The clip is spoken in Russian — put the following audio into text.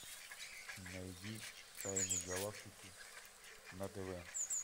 найди тайны галактики на тв